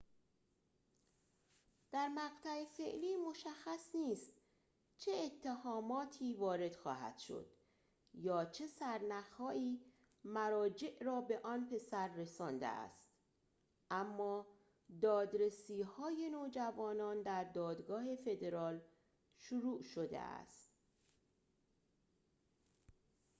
در مقطع فعلی مشخص نیست چه اتهاماتی وارد خواهد شد یا چه سرنخ‌هایی مراجع را به آن پسر رسانده است اما دادرسی‌های نوجوانان در دادگاه فدرال شروع شده است